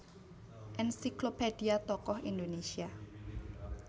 Ensiklophedia Tokoh Indonésia